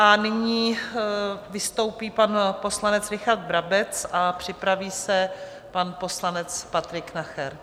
A nyní vystoupí pan poslanec Richard Brabec a připraví se pan poslanec Patrik Nacher.